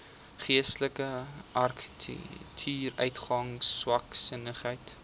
geestelike agteruitgang swaksinnigheid